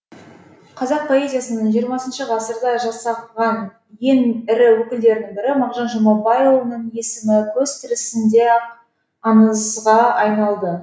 қазақ поэзиясының жиырмасыншы ғасырда жасаған ең ірі өкілдерінің бірі мағжан жұмабайұлының есімі көзі тірісінде ақ аңызға айналды